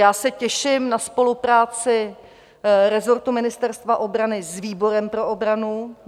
Já se těším na spolupráci resortu Ministerstva obrany s výborem pro obranu.